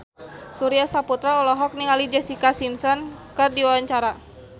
Surya Saputra olohok ningali Jessica Simpson keur diwawancara